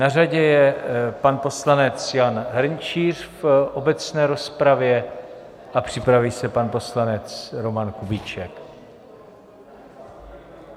Na řadě je pan poslanec Jan Hrnčíř v obecné rozpravě a připraví se pan poslanec Roman Kubíček.